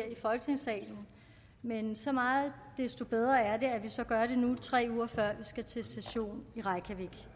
her i folketingssalen men så meget desto bedre er det at vi så gør det nu tre uger før vi skal til session i reykjavik